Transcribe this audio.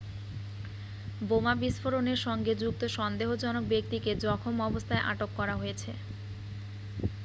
বোমা বিস্ফোরণের সঙ্গে যুক্ত সন্দেহজনক ব্যক্তিকে জখম অবস্থায় আটক করা হয়েছে